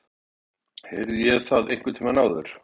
Heyrði ég það einhvern tíma áður?